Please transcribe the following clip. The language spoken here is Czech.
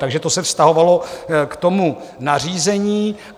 Takže to se vztahovalo k tomu nařízení.